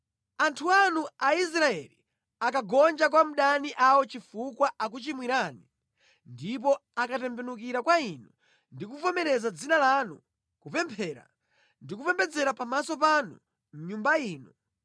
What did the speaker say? “Anthu anu Aisraeli akagonja kwa adani awo chifukwa akuchimwirani ndipo akatembenukira kwa Inu ndi kuvomereza Dzina lanu, kupemphera ndi kupembedzera pamaso panu mʼNyumba ino,